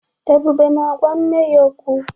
Ebube na-agwa nne ya okwu.